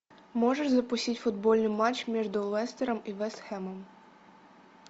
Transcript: можешь запустить футбольный матч между лестером и вест хэмом